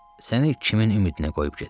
Səni kimin ümidinə qoyub gedirəm?